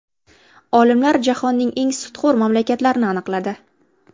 Olimlar jahonning eng sutxo‘r mamlakatlarini aniqladi.